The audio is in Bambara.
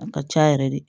A ka ca yɛrɛ de